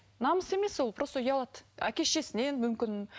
намыс емес ол просто ұялады әке шешесінен мүмкін